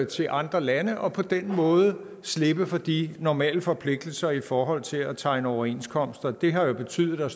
til andre lande og på den måde slippe for de normale forpligtelser i forhold til at tegne overenskomster det har jo betydet at